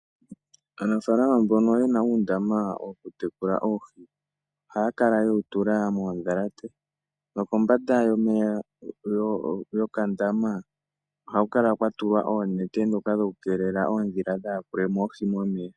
Aanafaalama mbono ye na uundama wokutekulila oohi ohaya kala ye wu tula moondhalate nokombanda yokandama ohaku kala kwa tulwa oonete ndhoka dhokukeelela oondhila dhaa yakule mo oohi momeya.